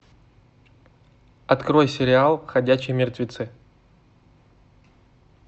открой сериал ходячие мертвецы